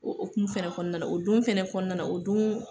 O okumu fɛnɛ kɔɔna na, o don fɛnɛ kɔɔna na o duun